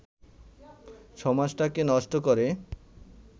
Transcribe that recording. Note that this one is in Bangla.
সমাজটাকে নষ্ট করে